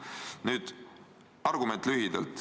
Nüüd argument lühidalt.